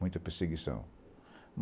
Muita perseguição.